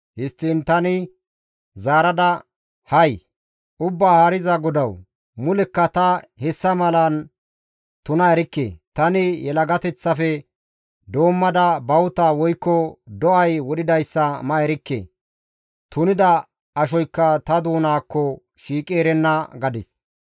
Histtiin tani zaarada, «Hay! Ubbaa Haariza GODAWU! Mulekka ta hessa malan tuna erikke; tani yelagateththafe doommada bawuta woykko do7ay wodhidayssa ma erikke; tunida ashoykka ta doonaakko shiiqi erenna» gadis.